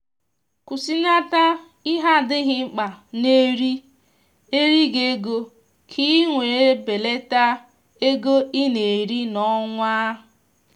kwụsịnata ihe adịghị mkpa na eri eri gị ego ka i nwèrè belata ego i na eri na onwa